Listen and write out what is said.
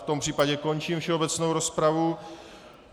V tom případě končím všeobecnou rozpravu.